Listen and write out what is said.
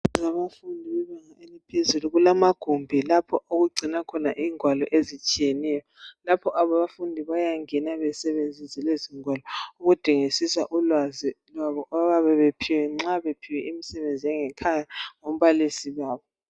Ngabafundi bebanga eliphezulu. Kulamagumbi lapho esigcina khona ingwalo ezitshiyeneyo. Lapho abafundi bayangena basebenzise lezingwalo. Ukudingidisa ulwazi, nxa bephiwe imisebenzi yangekhaya, ngumbalisi wabo.